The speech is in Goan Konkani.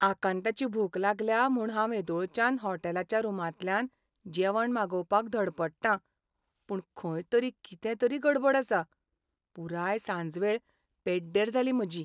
आकांताची भूक लागल्या म्हूण हांव हेदोळच्यान होटॅलाच्या रुमांतल्यान जेवण मागोवपाक धडपडटां, पूण खंय तरी कितें तरी गडबड आसा, पुराय सांजवेळ पेड्डेर जाली म्हजी.